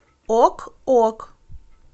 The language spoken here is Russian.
ок ок